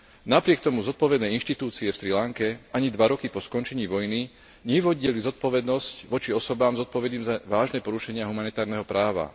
Napriek tomu zodpovedné inštitúcie na Srí Lanke ani dva roky po skončení vojny nevyvodili zodpovednosť voči osobám zodpovedným za vážne porušenia humanitárneho práva.